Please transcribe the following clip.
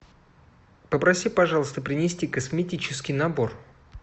попроси пожалуйста принести косметический набор